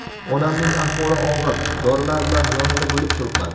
Onamning ahvoli og‘ir, dorilar bilan yonida bo‘lib turibman.